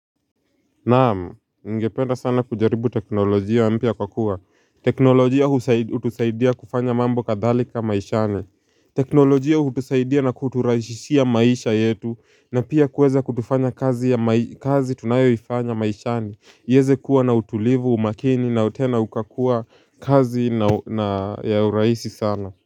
Naam, ningependa sana kujaribu teknolojia mpya kwa kuwa. Teknolojia hutusaidia kufanya mambo kadhalika maishani. Teknolojia hutusaidia na kuturahisishia maisha yetu na pia kuweza kutufanya kazi tunayoifanya maishani. Iweze kuwa na utulivu umakini na tena ukakuwa kazi na ya uraisi sana.